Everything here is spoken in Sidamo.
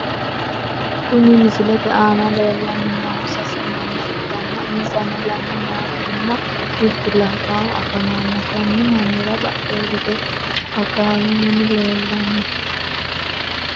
Kuni misilete aana lellanni noohu sase manna ikkanna, insano lame meyaatinna mittu labbaahu afamanno. kunni mannira badhee hige akkalu mini leellanno.